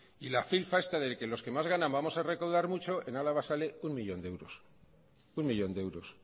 y la filfa esta del que los que más ganan vamos a recaudar mucho en álava sale uno millón de euros